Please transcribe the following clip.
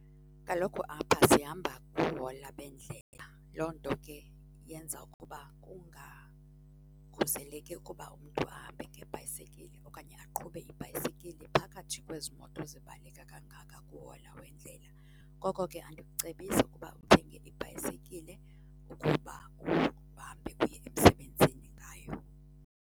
Kaloku apha sihamba kuhola bendlela, loo nto ke yenza ukuba kungakhuseleki ukuba umntu ahambe ngebhayisekile okanye aqhube ibhayisekile phakathi kwezi moto zibaleka kangaka kuhola wendlela. Ngoko ke andikucebisi ukuba uthenge ibhayisekile ukuba uhambe uye emsebenzini ngayo.